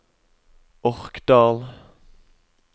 Orkdal